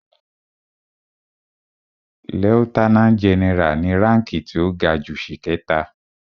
Lieutenant general ni ránki tí ó ga jù ṣìkẹta.